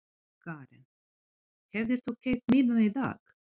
Karen: Hefðir þú keypt miðann í dag?